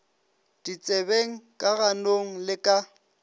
ditsebeng ka ganong le ka